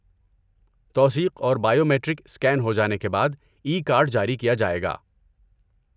توثیق اور biometric scan ہو جانے کے بعد ای کارڈ جاری کیا جائے گا۔